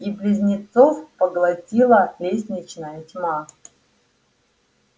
и близнецов поглотила лестничная тьма